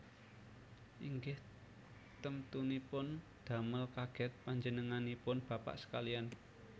Inggih temtunipun damel kagèt panjenenganipun bapak sekaliyan